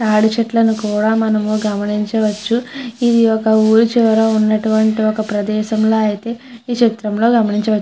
తడి చెట్లను కూడా మనం గమనించవచ్చు ఇది ఒక ఊరి చిరివ ఉన్నటువంటి ఒక ప్రదేశంలా అయితే ఈ చిత్రంలో గమనించవచ్చు.